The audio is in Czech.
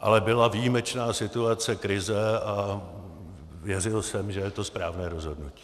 Ale byla výjimečná situace, krize a věřil jsem, že je to správné rozhodnutí.